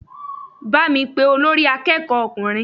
Bá mi pé olórí akẹ́kọ̀ọ́ ọkùnrin!